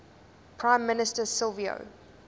prime minister silvio